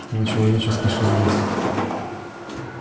вы человеческий шовинист